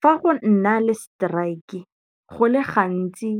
Fa go nna le strike go le gantsi